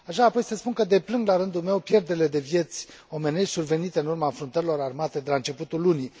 Aș vrea apoi să spun că deplâng, la rândul meu, pierderile de vieți omenești survenite în urma înfruntărilor armate de la începutul lunii.